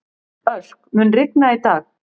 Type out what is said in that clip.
Örk, mun rigna í dag?